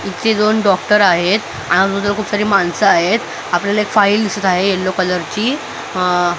इथली दोन डॉक्टर आहेत आणि अगोदर खूप सारी माणसं आहेत आपल्याला एक फाईल दिसत आहे येलो कलर ची --